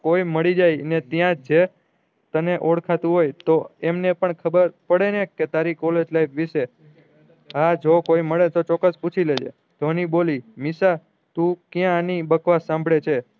કોઈ મરી જાય ને ત્યાજ તને ઓળખાતુજ હોય તો એમને પણ ખબર પડે ને કે તારી કોલેજ life ભી છે હા જો કોઈ મળે તો ચોક્કસ પૂછી લેજે ધ્વની બોલી નિશા તું ક્યાં એની બકવાસ શામ્બડે છે